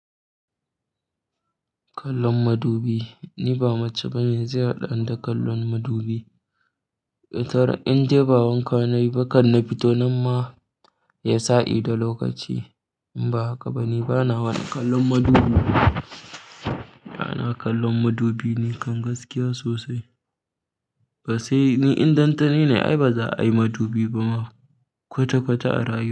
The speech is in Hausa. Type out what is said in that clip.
Kallon madubi, ni ba mace banemi zai haɗa ni da kallon madubi. Tara indai ba wanka na yi ba kan nafito nan ma, ya sa'i da lokaci. Ba haka ba, ni bana wani kallon madubi. Na kallon madubi ni kam gaskiya sosai. Ba sai ni in dan tani ni ne ai ba za a yi madubi ba ma kwata-kwata a rayuwa.